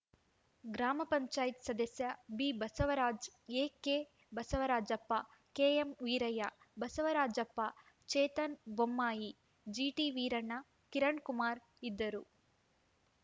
ಗ್ರಾಮ ಪಂಚಾಯತ್ ಸದಸ್ಯ ಬಿಬಸವರಾಜ ಎಕೆಬಸವರಾಜಪ್ಪ ಕೆಎಂ ವೀರಯ್ಯ ಬಸವರಾಜಪ್ಪ ಚೇತನ್‌ ಬೊಮ್ಮಾಯಿ ಜಿಟಿವೀರಣ್ಣ ಕಿರಣಕುಮಾರ ಇದ್ದರು